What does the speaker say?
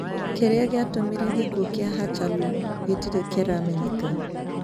Kĩrĩa kĩatumire gĩkuo kĩa Hachalu gĩtirĩ kĩramenyeka